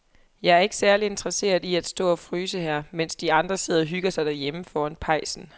Jeg er ikke særlig interesseret i at stå og fryse her, mens de andre sidder og hygger sig derhjemme foran pejsen.